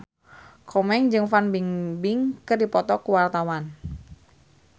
Komeng jeung Fan Bingbing keur dipoto ku wartawan